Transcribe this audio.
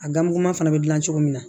A ganmugu ma fana bɛ dilan cogo min na